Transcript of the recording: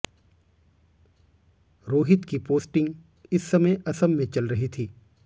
रोहित की पोस्टिंग इस समय असम में चल रही थी